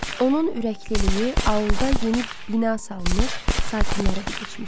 Onun ürəkliliyi aulda yeni bina salmış sakinlərə də keçmişdi.